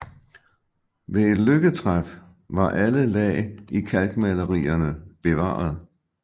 Ved et lykketræf var alle lag i kalkmalerierne bevaret